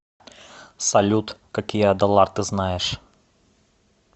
салют какие адалар ты знаешь